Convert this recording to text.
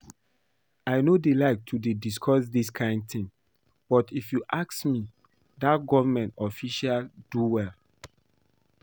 I no dey like to dey discuss dis kin thing but if you ask me, dat government official do well